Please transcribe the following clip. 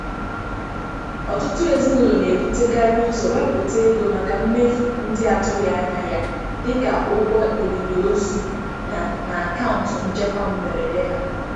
Ọtụtụ ezinụlọ na-ebutekarị ụzọ wepụta ego maka mmefu ndị atụghị anya ya, dịka ụgwọ olili ozu, na na akaụntụ nchekwa mberede ha.